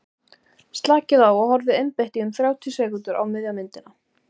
slakið á og horfið einbeitt í um þrjátíu sekúndur á miðja myndina